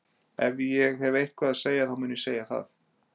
Ef ég hef eitthvað að segja þá mun ég segja það.